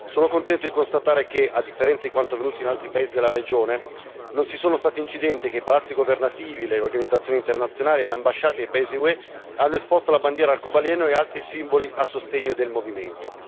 Sono contento di constatare che, a differenza di quanto avvenuto in altri paesi della regione, non ci sono stati incidenti e che i palazzi governativi, le organizzazioni internazionali e le ambasciate dei paesi UE hanno esposto la bandiera arcobaleno e altri simboli a sostegno del movimento.